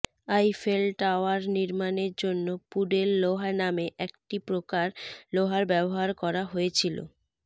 Eiffel tower নির্মাণের জন্য puddle লোহা নামে একটি প্রকার লোহার ব্যবহার করা হয়েছিল